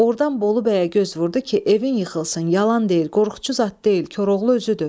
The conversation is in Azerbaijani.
Ordan Bolubəyə göz vurdu ki, evin yıxılsın, yalan deyir, qorxucu zad deyil, Koroğlu özüdür.